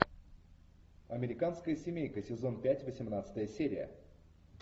американская семейка сезон пять восемнадцатая серия